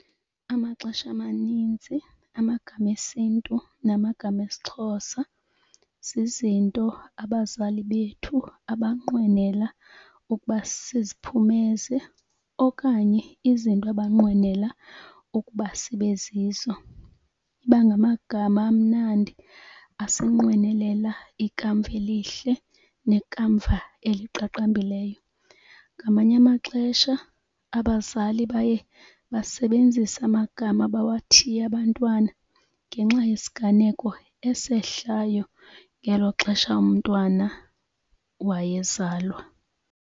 Amaxesha amaninzi amagama esiNtu namagama esiXhosa zizinto abazali bethu abanqwenela ukuba siziphumeze okanye izinto abanqwenela ukuba sibe zizo. Iba ngamagama amnandi asinqwenelela ikamva elihle nekamva eliqaqambileyo. Ngamanye amaxesha abazali baye basebenzise amagama abawathiye abantwana ngenxa yesiganeko esehlayo ngelo xesha umntwana wayezalwa.